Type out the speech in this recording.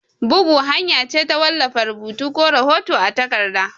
Bugu hanya ce ta wallafa rubutu ko hoto a takarda.